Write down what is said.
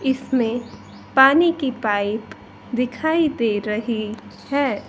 इसमे पानी की पाइप दिखाई दे रही है।